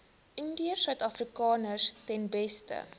indiërsuidafrikaners ten beste